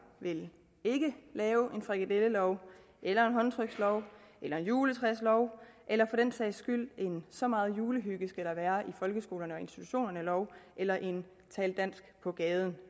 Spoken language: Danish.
vil ikke lave en frikadellelov eller håndtrykslov eller en juletræslov eller for den sags skyld en så meget julehygge skal der være i folkeskolerne og institutionerne lov eller en tal dansk på gaden